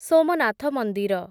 ସୋମନାଥ ମନ୍ଦିର